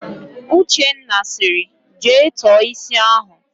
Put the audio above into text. Uchenna sịrị, "jee tọọ ísí ahụ"!